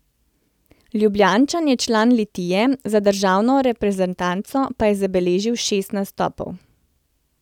Ljubljančan je član Litije, za državno reprezentanco pa je zabeležil šest nastopov.